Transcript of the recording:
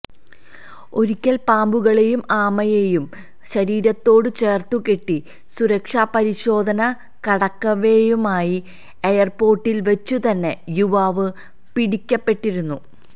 ഒരിക്കല് പാമ്പുകളെയും ആമയെയും ശരീരത്തോടു ചേര്ത്തുകെട്ടി സുരക്ഷാ പരിശോധന കടക്കവേ മയാമി എയര്പോര്ട്ടില് വച്ചുതന്നെ യുവാവ് പിടിക്കപ്പെട്ടിരുന്നു